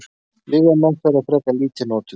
Lyfjameðferð er frekar lítið notuð.